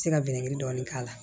Se ka dɔɔnin k'a la